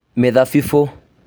Mĩthabibũ